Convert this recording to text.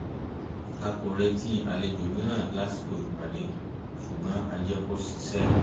a kò retí àlejò mìíràn lásìkò ìpàdé ṣùgbọ̀n a jẹ́ kó ṣiṣẹ́